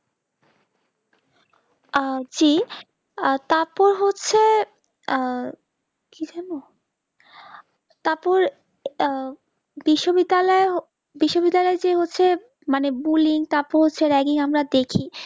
আহ জি তারপর হচ্ছে আহ কি যেন তারপর আহ বিশ্ব বিদ্যালয় বিশ্ব বিদ্যালয় যে হচ্ছে মানে bulling তারপর হচ্ছে ragging আমরা দেখি